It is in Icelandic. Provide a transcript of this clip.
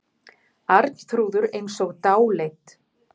Arnþrúður eins og dáleidd.